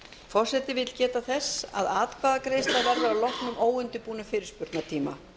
forseti vill geta þess að atkvæðagreiðsla verður að loknum óundirbúnum fyrirspurnatíma